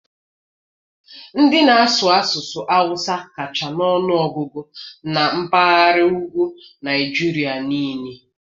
Ndị na-asụ asụsụ hausa kacha na ọnụ ọgụgụ n'mpaghara ugwu Naịjirịa niile